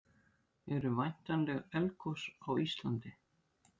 eru væntanleg eldgos á íslandi